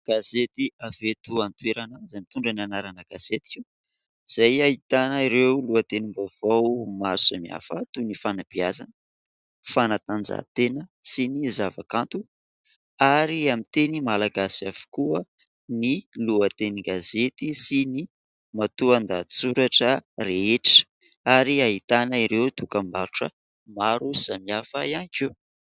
Gazety avy eto an-toerana izay mitondra ny anarana : "Gazetiko" izay ahitana ireo lohatenim-baovao maro samihafa toy ny fanabeazana, fanatanjahantena sy ny zavakanto ary amin'ny teny malagasy avokoa ny lohatenin-gazety sy ny matoan-dahatsoratra rehetra ary ahitana ireo dokam-barotra maro samihafa ihany koa.